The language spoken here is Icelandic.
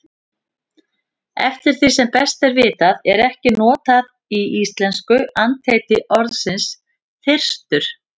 Eftir því sem best er vitað er ekki notað í íslensku andheiti orðsins þyrstur.